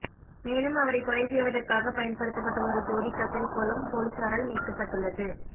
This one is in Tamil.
மேலும் அவரை கொலை செய்வதற்காக பயன்படுத்தப்பட்ட ஒரு ஜோடி கத்தரிக்கோலும் பொலிஸாரால் மீட்கப்பட்டுள்ளது